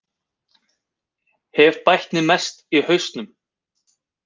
Hef bætt mig mest í hausnum